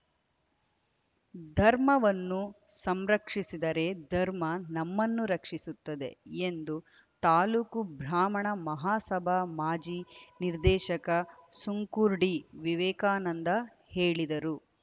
ಧರ್ಮವನ್ನು ಸಂರಕ್ಷಿಸಿದರೆ ಧರ್ಮ ನಮ್ಮನ್ನು ರಕ್ಷಿಸುತ್ತದೆ ಎಂದು ತಾಲೂಕು ಬ್ರಾಹ್ಮಣ ಮಹಾಸಭಾ ಮಾಜಿ ನಿರ್ದೇಶಕ ಸುಂಕುರ್ಡಿ ವಿವೇಕಾನಂದ ಹೇಳಿದರು